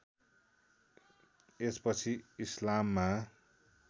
यस पछि इस्लाममा